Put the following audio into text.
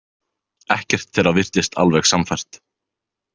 Ekkert þeirra virtist alveg sannfært.